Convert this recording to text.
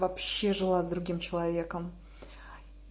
вообще жила с другим человеком